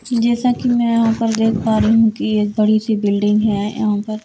जैसा कि मैं यहाँ पर देख पा रही हूँ कि एक बड़ी सी बिल्डिंग है यहाँ पर।